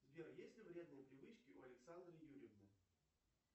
сбер есть ли вредные привычки у александры юрьевны